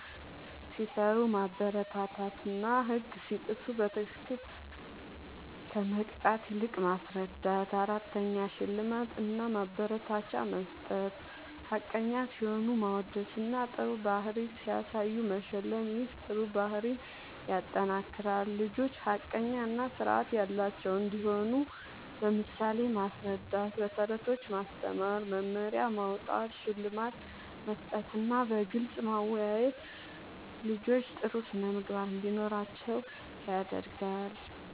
ሲሰሩ ማበረታታትና ህግ ሲጥሱ በትክክል ከመቅጣት ይልቅ ማስረዳት ፬. ሽልማት እና ማበረታቻ መስጠት፦ ሐቀኛ ሲሆኑ ማወደስና ጥሩ ባህሪ ሲያሳዩ መሸለም ይህ ጥሩ ባህሪን ያጠናክራል። ልጆች ሐቀኛ እና ስርዓት ያላቸው እንዲሆኑ በምሳሌ ማስረዳት፣ በተረቶች ማስተማር፣ መመሪያ ማዉጣት፣ ሽልማት መስጠትና በግልጽ ማወያየት ልጆች ጥሩ ስነ ምግባር እንዲኖራቸዉ ያደርጋል